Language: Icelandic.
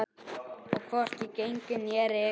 Og hvorki gengið né rekið.